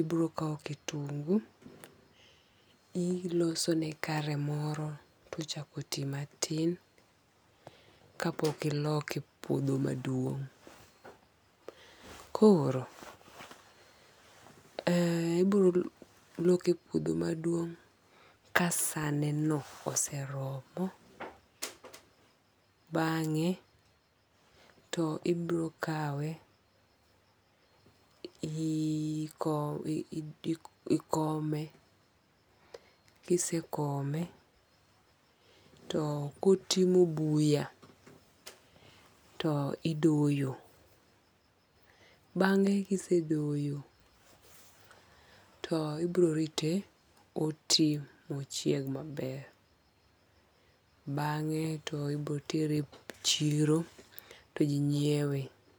ibiro kwa kitungu ilosone kare moro tochako ti matin kapok iloke e puodho maduong'. Koro ibiro loke e puodho maduong' ka sa ne no oseromo. Bang'e ibiro kawe ikome. Kisekome to kotimo buya to idoyo. Bang'e kisedoyo, to ibiro rite oti mochieg maber. Bang'e to ibiro tere e chiro to ji nyiewe.